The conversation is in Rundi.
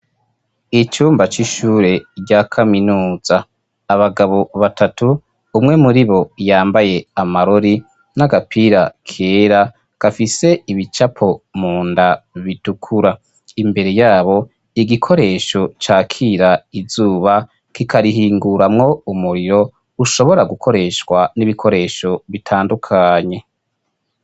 icyumba cy'ishure rya kaminuza ,abagabo batatu umwe muri bo yambaye amarori, n'agapira kera ,gafise ibicapo munda bitukura, imbere yabo igikoresho cakira izuba kikarihinguramwo umuriro ushobora gukoreshwa n'ibikoresho bitandukanye.